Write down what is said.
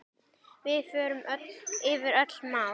Við förum yfir öll mál.